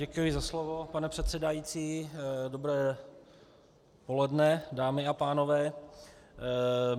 Děkuji za slovo pane předsedající, dobré poledne, dámy a pánové.